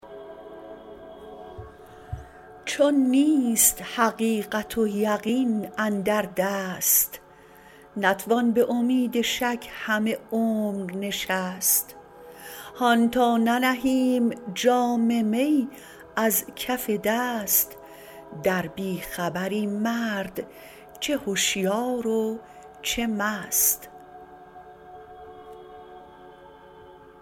چون نیست حقیقت و یقین اندر دست نتوان به امید شک همه عمر نشست هان تا ننهیم جام می از کف دست در بی خبری مرد چه هشیار و چه مست